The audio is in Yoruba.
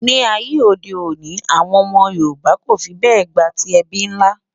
ní àyè òde òni, àwọn ómó yorùbà kò fí bè gbátí ẹbí nlá